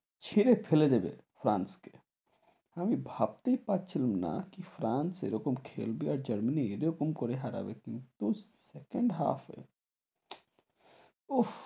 ছিডে ফেলে দেবে ফ্রান্স কে আমি ভাবতেই পারছিলাম না কি ফ্রান্স এরকম খেলবে আর জার্মানি এরকম করে হারাবে কিন্তু, second half এ উহ